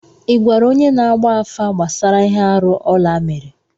Ị gwara onye na-agba afa gbasara ihe arụ Ọla mere?